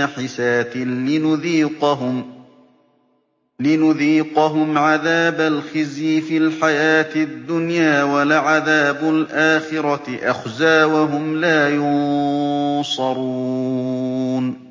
نَّحِسَاتٍ لِّنُذِيقَهُمْ عَذَابَ الْخِزْيِ فِي الْحَيَاةِ الدُّنْيَا ۖ وَلَعَذَابُ الْآخِرَةِ أَخْزَىٰ ۖ وَهُمْ لَا يُنصَرُونَ